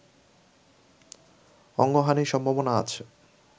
অঙ্গহানির সম্ভাবনা আছে